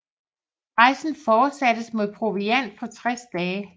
Rejsen fortsattes med proviant for 60 dage